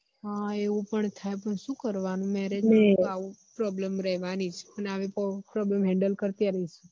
હ એવું પણ થાય પણ શું કરવાનું marriage આવી problem રેહવાની જ ને આવી problamhandal કરતી આવી